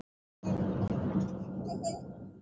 Kærar þakkir fyrir það.